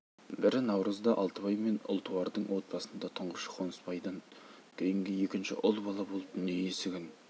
бірі наурызда алтыбай мен ұлтуардың отбасында тұңғышы қонысбайдан кейінгі екінші ұл бала болып дүние есігін